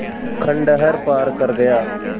खंडहर पार कर गया